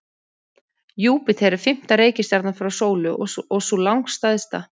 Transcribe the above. Júpíter er fimmta reikistjarnan frá sólu og sú langstærsta.